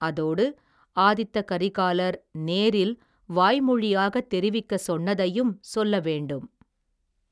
அதோடு, ஆதித்த கரிகாலர் நேரில், வாய்மொழியாகத் தெரிவிக்கச் சொன்னதையும் சொல்ல வேண்டும்.